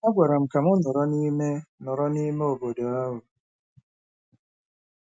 A gwara m ka m nọrọ n'ime nọrọ n'ime obodo ahụ.